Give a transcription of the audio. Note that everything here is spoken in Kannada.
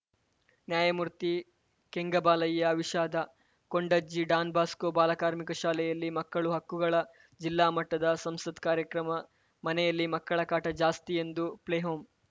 ನ್ಯಾಯಾ ಮೂರ್ತಿ ಕೆಂಗಬಾಲಯ್ಯ ವಿಷಾದ ಕೊಂಡಜ್ಜಿ ಡಾನ್‌ ಬಾಸ್ಕೋ ಬಾಲ ಕಾರ್ಮಿಕ ಶಾಲೆಯಲ್ಲಿ ಮಕ್ಕಳ ಹಕ್ಕುಗಳ ಜಿಲ್ಲಾ ಮಟ್ಟದ ಸಂಸತ್‌ ಕಾರ್ಯಕ್ರಮ ಮನೆಯಲ್ಲಿ ಮಕ್ಕಳ ಕಾಟ ಜಾಸ್ತಿ ಎಂದು ಪ್ಲೇ ಹೋಂ